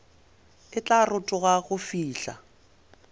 e tla rotoga go fihla